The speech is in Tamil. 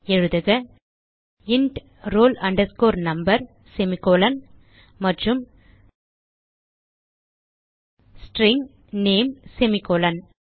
எழுதுக int roll number semi colon மற்றும் ஸ்ட்ரிங் நேம் semi கோலோன்